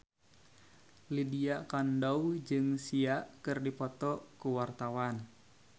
Lydia Kandou jeung Sia keur dipoto ku wartawan